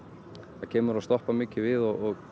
það kemur og stoppar mikið við og